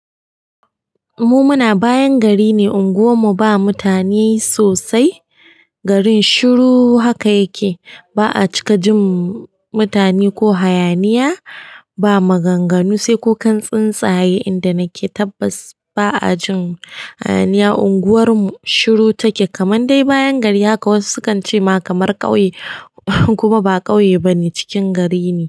Mu muna bayan gari ne, unguwarmu ba mutane sosai. Garin shiru haka yake. Ba'a cika jin mutane ko hayaniya, ba maganganu sai kukan tsuntsaye inda nake tabbas. Ba'a jin hayaniya, unguwarmu shiru take. Kamanda dai bayan gari haka wasu sukan ce ma kamar ƙauye kuma ba ƙauye bane, cikin gari ne.